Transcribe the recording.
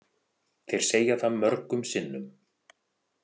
Þeir segja það mörgum sinnum.